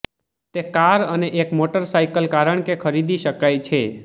તે કાર અને એક મોટરસાઇકલ કારણ કે ખરીદી શકાય છે